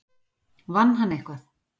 Vann hann eitthvað?